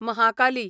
Mahakali